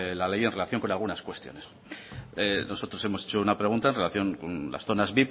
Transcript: la ley en relación con algunas cuestiones nosotros hemos hecho una pregunta en relación con las zonas